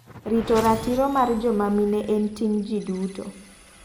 Rito ratiro mar joma mine en ting' ji duto.